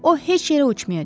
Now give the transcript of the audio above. O heç yerə uçmayacaq.